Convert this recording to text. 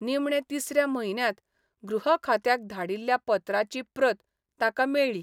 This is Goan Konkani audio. निमणे तिसऱ्या म्हयन्यांत गृह खात्याक धाडिल्ल्या पत्राची प्रत ताका मेळ्ळी.